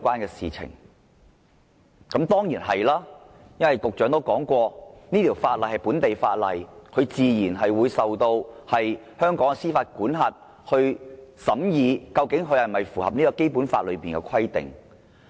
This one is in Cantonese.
答案當然是，因為局長說過這條例是本地法例，香港法院自然有司法管轄權，審議該條例是否符合《基本法》的規定。